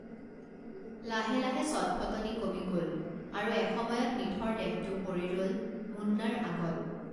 লাহে লাহে চটফটনি কমি গল আৰু এসময়ত নিথৰ দেহটো পৰি ৰল মুন্নাৰ আগত